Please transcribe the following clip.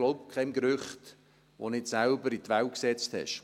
Glauben Sie keinem Gerücht, das Sie nicht selbst in die Welt gesetzt haben!